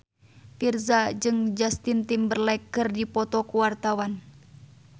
Virzha jeung Justin Timberlake keur dipoto ku wartawan